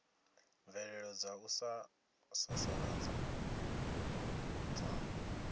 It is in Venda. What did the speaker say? mvelelo dza u sasaladza dza